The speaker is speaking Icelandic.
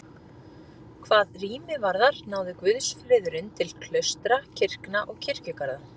Hvað rými varðar náði guðsfriðurinn til klaustra, kirkna og kirkjugarða.